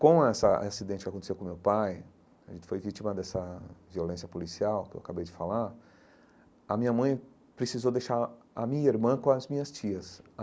Com essa acidente que aconteceu com o meu pai, a gente foi vítima dessa violência policial que eu acabei de falar, a minha mãe precisou deixar a minha irmã com as minhas tias.